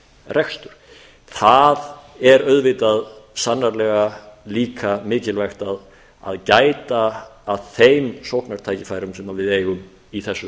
rekstur það er auðvitað sannarlega líka mikilvægt að gæta að þeim sóknartækifærum sem við eigum í þessu